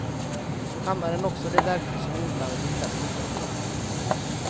Hammaren är också det verktyg som är inblandat i flest olyckor.